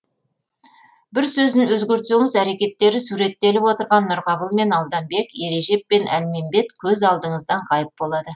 бір сөзін өзгертсеңіз әрекеттері суреттеліп отырған нұрқабыл мен алданбек ережеп пен әлмембет көз алдыңыздан ғайып болады